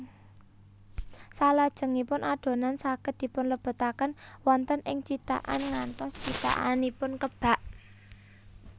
Salajengipun adonan saged dipunlebetaken wonten ing cithakan ngantos cithakanipun kebak